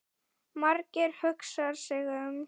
Margeir hugsar sig um.